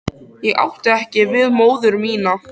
Ég átti ekki við móður mína.